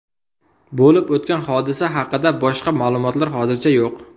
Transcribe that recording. Bo‘lib o‘tgan hodisa haqida boshqa ma’lumotlar hozircha yo‘q.